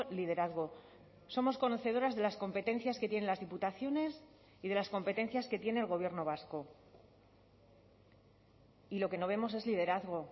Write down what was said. liderazgo somos conocedoras de las competencias que tienen las diputaciones y de las competencias que tiene el gobierno vasco y lo que no vemos es liderazgo